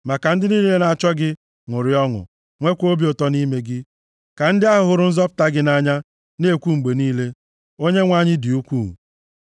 Ma ka ndị niile na-achọ gị ṅụrịa ọṅụ, nweekwa obi ụtọ nʼime gị, ka ndị ahụ hụrụ nzọpụta gị nʼanya na-ekwu mgbe niile, “ Onyenwe anyị dị ukwuu.”